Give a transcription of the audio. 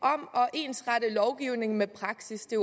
ensrette lovgivningen med praksis det